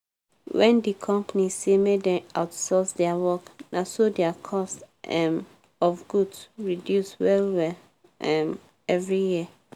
when di company say make dem outsource dia work naso dia cost um of goods reduce well-well um every year.